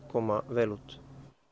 koma vel út